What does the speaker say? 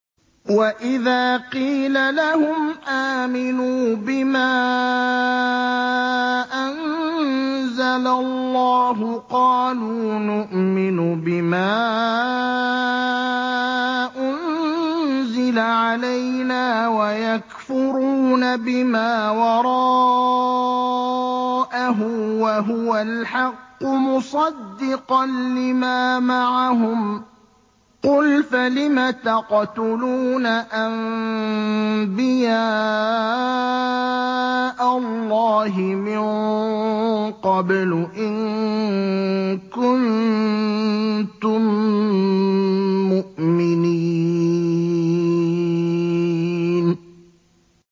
وَإِذَا قِيلَ لَهُمْ آمِنُوا بِمَا أَنزَلَ اللَّهُ قَالُوا نُؤْمِنُ بِمَا أُنزِلَ عَلَيْنَا وَيَكْفُرُونَ بِمَا وَرَاءَهُ وَهُوَ الْحَقُّ مُصَدِّقًا لِّمَا مَعَهُمْ ۗ قُلْ فَلِمَ تَقْتُلُونَ أَنبِيَاءَ اللَّهِ مِن قَبْلُ إِن كُنتُم مُّؤْمِنِينَ